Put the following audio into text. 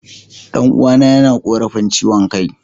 Dan'uwana yana korafin chiwon Kai.